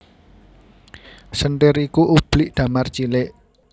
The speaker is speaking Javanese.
Senthir iku ublik damar cilik